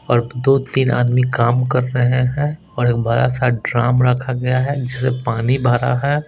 और दो तीन आदमी काम कर रहे है और एक बड़ा सा ड्रम रखा गया है जिसमे पानी भरा है।